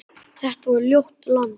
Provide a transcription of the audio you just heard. Þetta var ljótt land.